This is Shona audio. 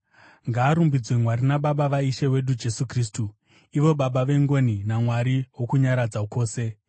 Ngaarumbidzwe Mwari naBaba vaIshe wedu Jesu Kristu, ivo Baba vengoni naMwari wokunyaradza kwose,